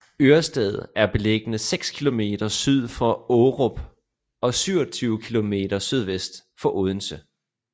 Ørsted er beliggende seks kilometer syd for Aarup og 27 kilometer sydvest for Odense